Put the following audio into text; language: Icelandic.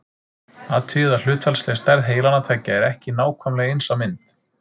Athugið að hlutfallsleg stærð heilanna tveggja er ekki nákvæmlega eins á mynd.